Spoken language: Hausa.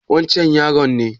Wancan yaron ne